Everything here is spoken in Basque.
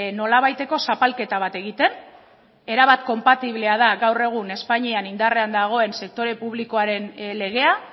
nolabaiteko zapalketa bat egiten erabat konpatiblea da gaur egun espainian indarrean dagoen sektore publikoaren legea